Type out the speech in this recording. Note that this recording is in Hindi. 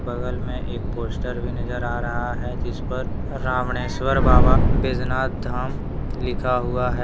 बगल में एक पोस्टर भी नजर आ रहा हैं जिस पर रामनेश्वर बाबा बृजनाथ धाम लिखा हुआ हैं।